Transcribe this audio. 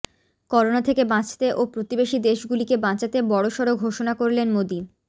corona থেকে বাঁচতে ও প্রতিবেশী দেশগুলিকে বাঁচাতে বড়সড় ঘোষণা করলেন মোদী